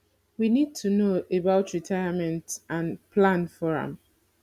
we need to know about retirement and plan for am